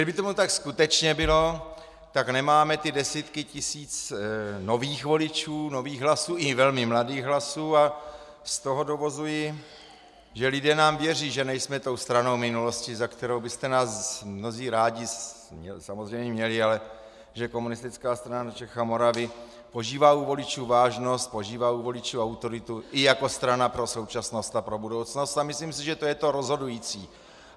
Kdyby tomu tak skutečně bylo, tak nemáme ty desítky tisíc nových voličů, nových hlasů, i velmi mladých hlasů, a z toho dovozuji, že lidé nám věří, že nejsme tou stranou minulosti, za kterou byste nás mnozí rádi samozřejmě měli, ale že Komunistická strana Čech a Moravy požívá u voličů vážnost, požívá u voličů autoritu i jako strana pro současnost a pro budoucnost, a myslím si, že to je to rozhodující.